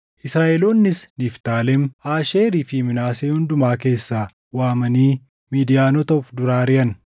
Israaʼeloonnis Niftaalem, Aasheerii fi Minaasee hundumaa keessaa waamanii Midiyaanota of dura ariʼan.